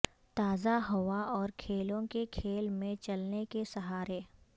تازہ ہوا اور کھیلوں کے کھیل میں چلنے کے سہارے